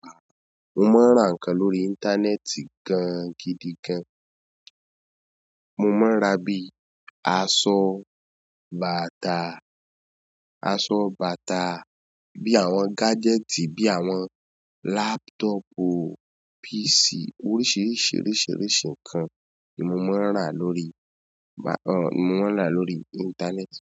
Mo máa ń ra ǹkan lórí íńtánẹ́ẹ̀tì gan gidi gan. Mo máa ń ra bíi aṣọ, bàtà, aṣọ bàtà, bí àwọn gájẹ́ẹ̀tì, bí àwọn lápútọ̀pù, písì oríṣìíríṣìí, oríṣìíríṣìí ǹkan ni mo máa ń ra lórí, à mo máa ń ra lórí íńtánẹ́ẹ̀tì.